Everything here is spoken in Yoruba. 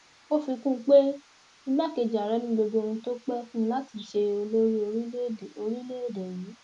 ó fi kún un pé igbákejì ààrẹ ni gbogbo ohun tó pẹ fún láti ṣe olórí orílẹèdè orílẹèdè yìí